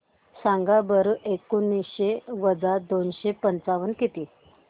सांगा बरं एकोणीसशे वजा दोनशे पंचावन्न किती